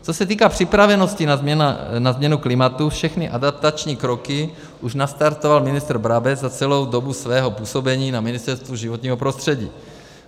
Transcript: Co se týká připravenosti na změnu klimatu, všechny adaptační kroky už nastartoval ministr Brabec za celou dobu svého působení na Ministerstvu životního prostředí.